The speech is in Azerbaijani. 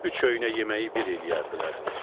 Üç öynə yeməyi bir eləyərdilər.